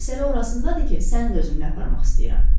Məsələ orasındadır ki, səni də özümlə aparmaq istəyirəm.